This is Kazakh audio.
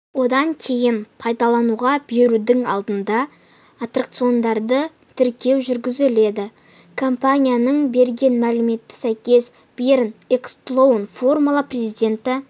одан кейін пайдалануға берудің алдында аттракциондарды тіркеу жүргізіледі компанияның берген мәліметіне сәйкес берн экклстоун формула президенті